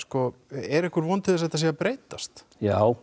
er einhver von til þess að þetta sé að breytast já